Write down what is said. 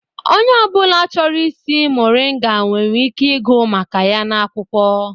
Onye ọ bụla chọrọ ịsị muringa nwere ike ịgụ maka ya n'akwụkwọ.